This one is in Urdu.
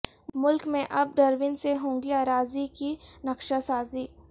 ملک میں اب ڈرون سے ہوگی اراضی کی نقشہ سازی